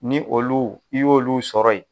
Ni olu n'i y'olu sɔrɔ yen